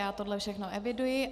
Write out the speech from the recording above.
Já tohle všechno eviduji.